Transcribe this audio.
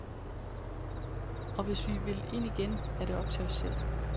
Og hvis vi vil ind igen, er det op til os selv.